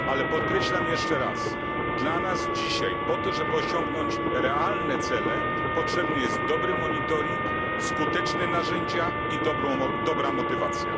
Ale podkreślam jeszcze raz, że dla nas dzisiaj, po to żeby osiągnąć realne cele, potrzebny jest dobry monitoring, skuteczne narzędzia i dobra motywacja.